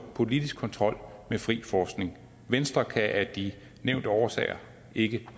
politisk kontrol med fri forskning venstre kan af de nævnte årsager ikke